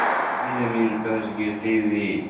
कभी जमीन पर गिरते हुए